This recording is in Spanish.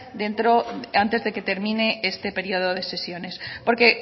dentro antes de que termine este periodo de sesiones porque